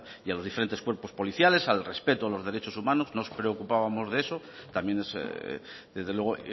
y a los diferentes cuerpos policiales al respeto a los derechos humanos nos preocupábamos de eso también desde luego